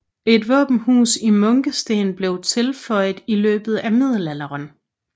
Et våbenhus i munkesten blev tilføjet i løbet af middelalderen